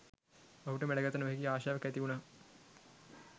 ඔහුට මැඩගත නොහැකි ආශාවක් ඇති උණා.